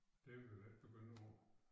Det kan vi jo ikke begynde på